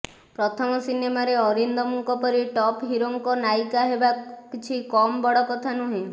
ପ୍ରଥମ ସିନେମାରେ ଅରିନ୍ଦମ୍ଙ୍କ ପରି ଟପ୍ ହିରୋଙ୍କ ନାୟିକା ହେବା କିଛି କମ୍ ବଡ଼ କଥା ନୁହେଁ